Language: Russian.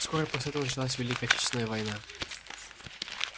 вскоре после этого началась великая отечественная война